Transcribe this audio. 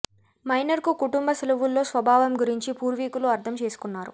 minor కు కుటుంబ సెలవుల్లో స్వభావం గురించి పూర్వీకులు అర్థం చేసుకున్నారు